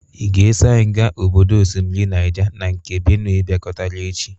Ị ga-eso anyị ga obodo osimiri Naịja na nke Benue bịakọtara echi?